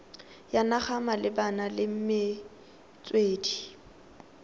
ya naga malebana le metswedi